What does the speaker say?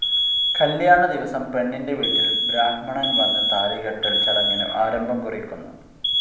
കല്യാണ ദിവസം പെണ്ണിന്റെ വീട്ടിൽ ബ്രാഹ്മണൻ വന്ന് താലികെട്ടൽ ചടങ്ങിനു ആരംഭം കുറിക്കുന്നു.